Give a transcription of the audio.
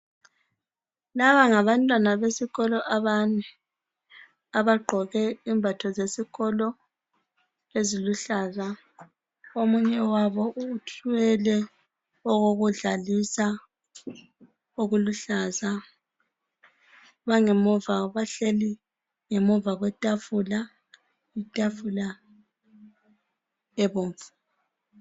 Laba ngabantwana besikolo abane. Abagqoke imbatho zesikolo eziluhlaza. Omunye wabo uthwele okokudlalisa okuluhlaza. Bangemuva, bahleli ngemuva kwetafula. Itafula ebomvu.